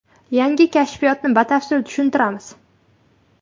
Yangi kashfiyotni batafsil tushuntiramiz.